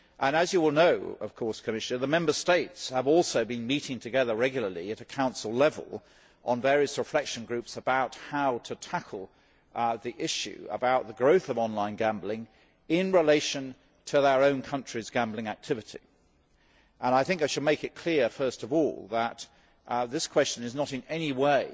As you all know, the Member States have also been meeting together regularly at Council level on various reflection groups about how to tackle the issue about the growth of online gambling in relation to our own countries' gambling activities. I think I should make it clear first of all that this question does not in any way